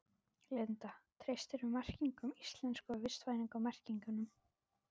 Linda: Treystirðu merkingunum íslensku, vistvænu merkingunum?